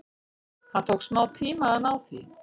Það tók smá tíma að ná því.